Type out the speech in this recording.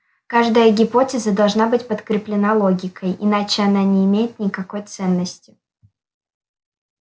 каждая гипотеза должна быть подкреплена логикой иначе она не имеет никакой ценности